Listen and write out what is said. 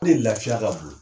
Ne lafiya ka bon